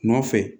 Nɔfɛ